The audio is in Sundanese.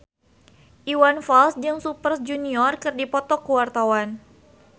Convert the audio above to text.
Iwan Fals jeung Super Junior keur dipoto ku wartawan